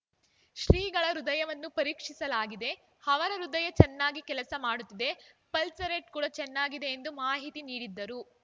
ಶ್ರೀಗಳ ಹೃದಯವನ್ನು ಪರೀಕ್ಷಿಸಲಾಗಿದೆ ಅವರ ಹೃದಯ ಚೆನ್ನಾಗಿ ಕೆಲಸ ಮಾಡುತ್ತಿದೆ ಪಲ್ಸ್‌ರೇಟ್‌ ಕೂಡ ಚೆನ್ನಾಗಿದೆ ಎಂದು ಮಾಹಿತಿ ನೀಡಿದರು